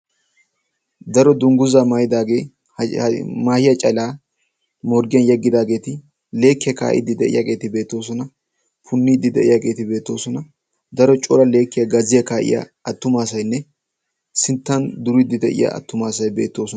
daro dungguzaa maayidaagee maahiya calaa morggiyan yeggidaageeti leekkiyaa kaa'iddi de'iyaageeti beetoosona punniiddi de'iyaageeti beetoosona daro cora leekkiya gaziya kaa'iya attumaasainne sinttan duriddi de'iya attumaasay beettoosona.